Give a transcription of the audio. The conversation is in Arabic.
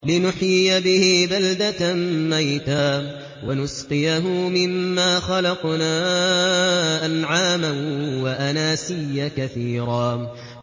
لِّنُحْيِيَ بِهِ بَلْدَةً مَّيْتًا وَنُسْقِيَهُ مِمَّا خَلَقْنَا أَنْعَامًا وَأَنَاسِيَّ كَثِيرًا